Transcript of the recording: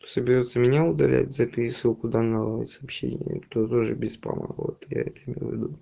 то соберётся меня удалять за пересылку данного сообщения то тоже без спама вот я это имел в виду